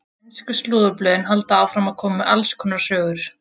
Ensku slúðurblöðin halda áfram að koma með alls konar sögur.